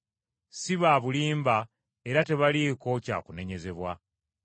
Si ba bulimba era tebaliiko kya kunenyezebwa.